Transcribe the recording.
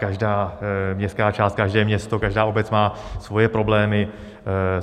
Každá městská část, každé město, každá obec má svoje problémy.